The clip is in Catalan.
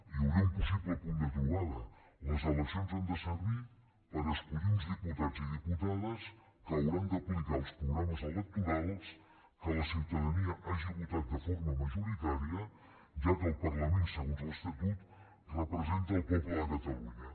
hi hauria un possible punt de trobada les eleccions han de servir per escollir uns diputats i diputades que hauran d’aplicar els programes electorals que la ciutadania hagi votat de forma majoritària ja que el parlament segons l’estatut representa el poble de catalunya